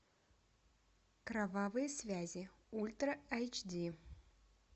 кровавые связи ультра айч ди